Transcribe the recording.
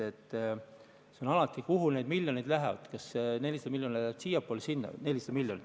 Kõik sõltub sellest, kuhu need miljonid lähevad, kas 400 miljonit läheb siiapoole või sinnapoole.